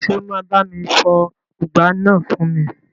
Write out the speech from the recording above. Ṣé o máa bá mi fọ ùgbá náà fún mi?